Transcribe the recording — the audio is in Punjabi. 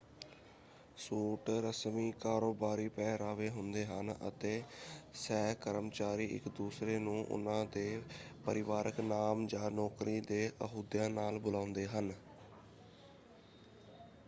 ਸੂਟ ਰਸਮੀ ਕਾਰੋਬਾਰੀ ਪਹਿਰਾਵੇ ਹੁੰਦੇ ਹਨ ਅਤੇ ਸਹਿਕਰਮਚਾਰੀ ਇੱਕ ਦੂਸਰੇ ਨੂੰ ਉਨ੍ਹਾਂ ਦੇ ਪਰਿਵਾਰਕ ਨਾਮ ਜਾਂ ਨੌਕਰੀ ਦੇ ਅਹੁਦਿਆਂ ਨਾਲ ਬੁਲਾਉਂਦੇ ਹਨ।